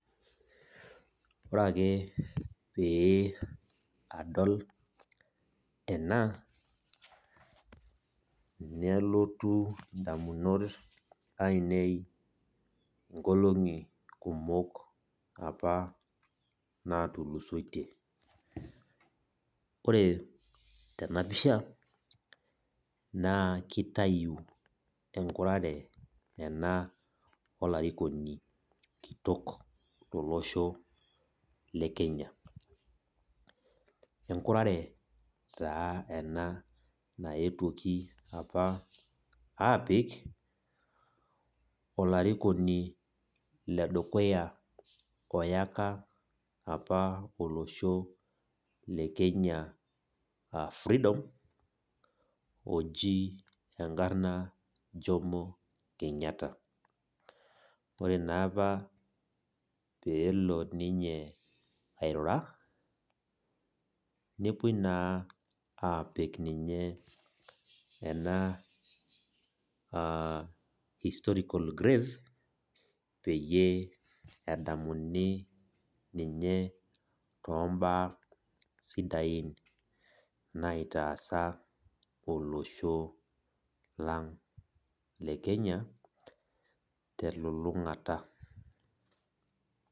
Ore ake pee adol ena nelotu indamunot ainei nkolongi kumok apa natulusoitie . Ore tena pisha naa kitayu enkurare ena olarikoni kitok tolosho lekenya. Enkurare taa ena naetuoki apik olarikoni apa olosho lekenya freedom oji enkarna jomo kenyata . Ore naapa pelo ninye airura , nepuoi naa apik ninye ena historical grave pee edamuni ninye tombaa sidain ninye naitaasa olosho lang lekenya telulungata .